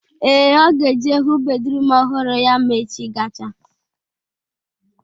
Ee, Ọ ga-eje hụ bedruum ọhụrụ ya ma echi gachaa